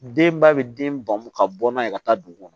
Denba bɛ den bamu ka bɔ n'a ye ka taa dugu kɔnɔ